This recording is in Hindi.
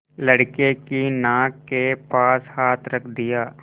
लड़के की नाक के पास हाथ रख दिया